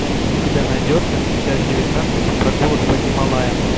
у тебя найдется часть девятнадцать прогулок по гималаям